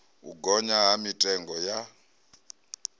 u gonya ha mitengo ya